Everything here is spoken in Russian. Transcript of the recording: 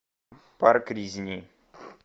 парк резни